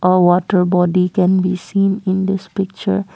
a water body can be seen in this picture.